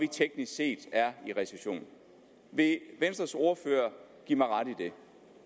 teknisk set er i recession vil venstres ordfører give mig ret i det